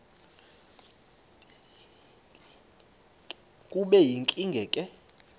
kube yinkinge ke